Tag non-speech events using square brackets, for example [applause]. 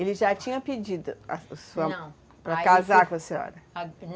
Ele já tinha pedido, a sua mão? Não. Para casar com a senhora? [unintelligible]